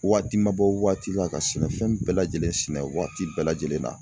Waati ma bɔ waati la ka sɛnɛ fɛn bɛɛ lajɛlen sɛnɛ waati bɛɛ lajɛlen na.